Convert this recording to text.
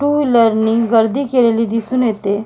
To wheeler नि गर्दी केलेली दिसून येते.